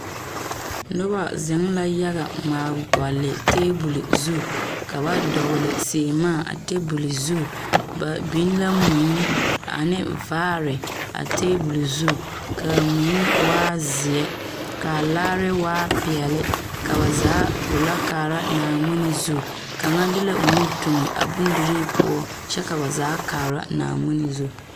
Noba zeŋ la yaga ŋmaa gɔle tabol zu ka ba dɔgle seemaa tabol zu ba biŋ la mui ane vaare a tabol zu k,a mui waa zeɛ k,a laare waa peɛle ka ba zaa gbollɔ kaara Naaŋmen zu kaŋa de la o nu toŋe a bondirii poɔ kyɛ ka ba zaa kaara Naaŋmen zu.